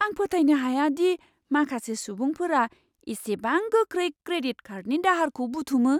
आं फोथायनो हाया दि माखासे सुबुंफोरा इसेबां गोख्रै क्रेडिट कार्डनि दाहारखौ बुथुमो!